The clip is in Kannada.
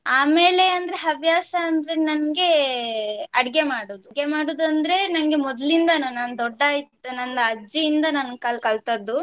ಆಮೇಲೆ ಅಂದ್ರೆ ಹವ್ಯಾಸ ಅಂದ್ರೆ ನಂಗೆ ಅಡ್ಗೆ ಮಾಡೋದ್ ಅಡ್ಗೆ ಮಾಡೋದಂದ್ರೆ ನಂಗೆ ಮೊದ್ಲಿಂದಾನು ನಾನು ದೊಡ್ಡ ಇದ್ದ್ ನನ್ನ ಅಜ್ಜಿಯಿಂದ ನಾನು ಕಲ್~ ಕಲ್ತದ್ದು.